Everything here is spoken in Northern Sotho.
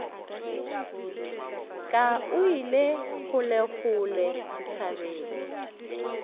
ka o ile kgolekgole dithabeng